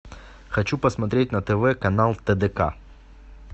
хочу посмотреть на тв канал тдк